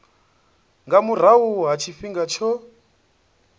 nga murahu ha tshifhinga tsho